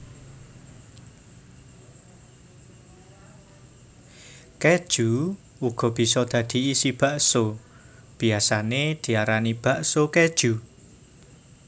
Kéju uga bisa dadi isi bakso biyasané diarani bakso kéju